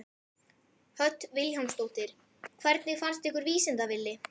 Hödd Vilhjálmsdóttir: Hvernig fannst ykkur Vísinda-Villi?